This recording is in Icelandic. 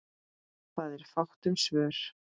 Það er fátt um svör.